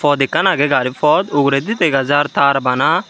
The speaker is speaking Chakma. pot ekkan agey gari pot uguredi dega jaar taar bana.